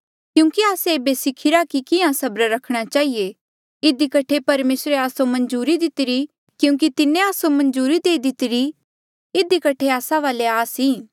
क्यूंकि आस्से ऐबे सिखिरा कि कियां सबर रखणा चहिए इधी कठे परमेसरे आस्सो मंजूरी दितिरी क्यूंकि तिन्हें आस्सो मंजूरी देई दितिरी इधी कठे आस्सा वाले आस ई